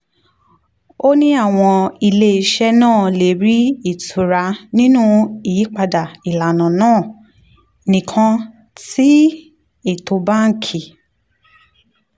ó ní àwọn iléeṣẹ́ náà lè rí ìtura nínú yípadà ìlànà náà nìkan tí ètò báńkì